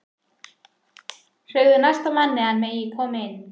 Segðu næsta manni að hann megi koma inn